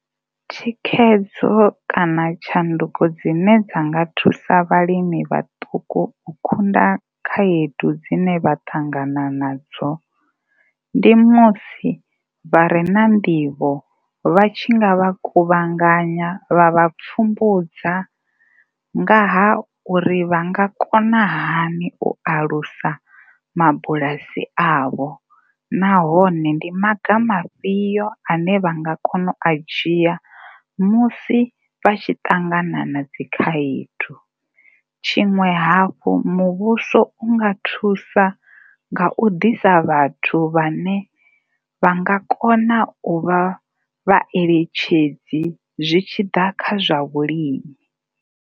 Thikhedzo kana tshanduko dzine dza nga thusa vhalimi vhaṱuku u kunda khaedu dzine vha ṱangana nadzo ndi musi vha re na nḓivho vha tshi nga vha kuvhanganya vha vha pfumbudza nga ha uri vha nga kona hani u alusa mabulasi avho nahone ndi maga mafhio a ne vha nga kona u a dzhia musi vha tshi ṱangana na dzi khaedu. Tshiṅwe hafhu, muvhuso u nga thusa nga u ḓisa vhathu vhane vha nga kona u vha vhaeletshedzi zwi tshi ḓa kha zwa vhulimi.